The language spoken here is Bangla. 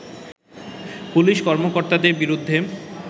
পুলিশ কর্মকর্তাদের বিরুদ্ধে